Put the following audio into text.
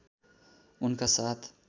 उनका साथ